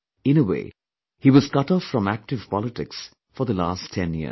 In a way, he was cutoff from active politics for the last 10 years